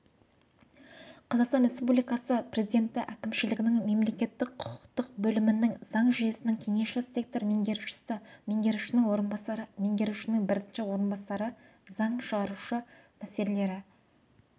қазақстан республикасы президентіәкімшілігінің мемлекеттік-құқықтық бөлімінің заң жүйесінің кеңесші сектор меңгерушісі меңгерушінің орынбасары меңгерушінің бірінші орынбасары заң шығару мәселелері